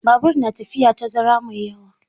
Babur na tafiya tazara mai yawa.